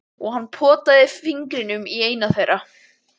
Og hann potaði fingrinum í eina þeirra.